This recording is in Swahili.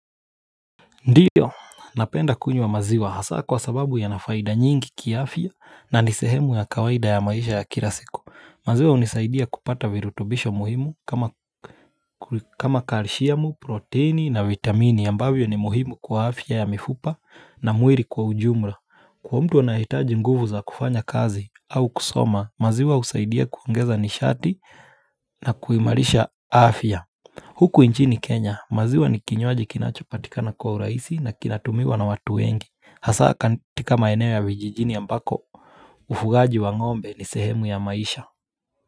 Ndiyo, napenda kunywa maziwa hasa kwa sababu yana faida nyingi kiafya na ni sehemu ya kawaida ya maisha ya kila siku. Maziwa hunisaidia kupata virutubisho muhimu kama kalisiamu, proteini na vitamini ambavyo ni muhimu kwa afya ya mifupa na mwili kwa ujumla. Kwa mtu anayehitaji nguvu za kufanya kazi au kusoma, maziwa husaidia kuongeza nishati na kuimarisha afya. Huku nchini Kenya, maziwa ni kinywaji kinachopatika na kwa urahisi na kinatumiwa na watu wengi. Hasa katika maeneo ya vijijini ambako, ufugaji wa ngombe ni sehemu ya maisha.